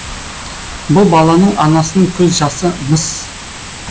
бұл баланың анасының көз жасы мыс